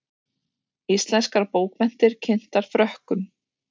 Íslenskar bókmenntir kynntar Frökkum